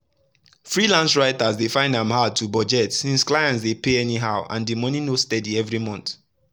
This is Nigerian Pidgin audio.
freelance writers dey find am hard to budget since clients dey pay anyhow and the money no steady every month.